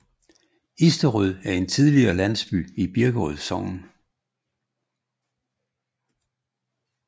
Isterød er en tidligere landsby i Birkerød Sogn